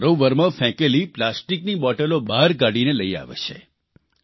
અને સરોવરમાં ફેંકેલી પ્લાસ્ટીકની બોટલો બહાર કાઢીને લઇ આવે છે